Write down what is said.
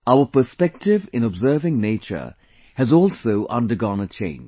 Our perspective in observing nature has also undergone a change